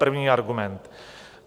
První argument.